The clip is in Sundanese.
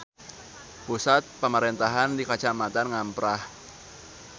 Pusat pamarentahan di Kacamatan Ngamprah.